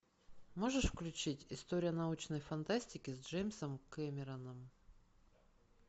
можешь включить история научной фантастики с джеймсом кэмероном